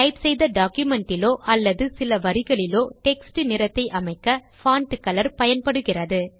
type செய்த document இலோ அல்லது சில வரிகளிலோ டெக்ஸ்ட் நிறத்தை அமைக்க பான்ட் கலர் பயன்படுகிறது